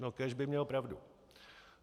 No kéž by měl pravdu.